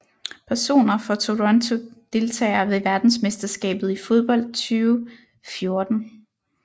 Personer fra Toronto Deltagere ved verdensmesterskabet i fodbold 2014